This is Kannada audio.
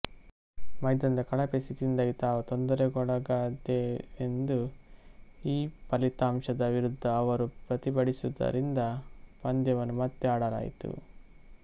ಮೈದಾನದ ಕಳಪೆ ಸ್ಥಿತಿಯಿಂದಾಗಿ ತಾವು ತೊಂದರೆಗೊಳಗಾದೆವೆಂದು ಈ ಫಲಿತಾಂಶದ ವಿರುದ್ಧ ಅವರು ಪ್ರತಿಭಟಿಸಿದುದರಿಂದ ಪಂದ್ಯವನ್ನು ಮತ್ತೆ ಆಡಲಾಯಿತು